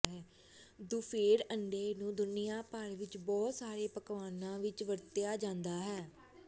ਦੁਫੇੜ ਅੰਡੇ ਨੂੰ ਦੁਨੀਆਂ ਭਰ ਵਿੱਚ ਬਹੁਤ ਸਾਰੇ ਪਕਵਾਨਾਂ ਵਿੱਚ ਵਰਤਿਆ ਜਾਂਦਾ ਹੈ